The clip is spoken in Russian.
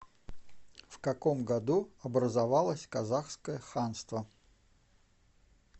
в каком году образовалось казахское ханство